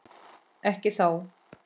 Ekki þá.